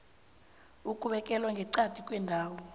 ukubekelwa ngeqadi kwendawo